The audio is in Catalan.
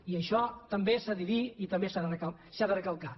i això també s’ha de dir i també s’ha de recalcar